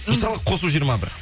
мысалы қосу жиырма бір